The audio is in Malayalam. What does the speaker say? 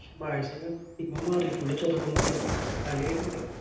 പക്ഷെ ബാഴ്‍സക്കെ Team മാറി Full ചെറുക്കൻ മാരും കളി വേരുന്നുണ്ട്